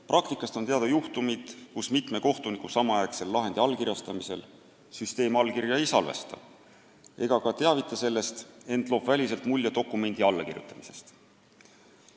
Praktikast on teada juhtumid, kus mitme kohtuniku samaaegsel lahendi allkirjastamisel süsteem allkirja ei salvesta ega ka teavita sellest, ent loob väliselt mulje dokumendi allakirjutamisest.